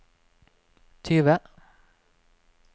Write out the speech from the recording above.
tyve